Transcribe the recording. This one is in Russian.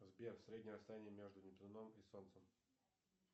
сбер среднее расстояние между нептуном и солнцем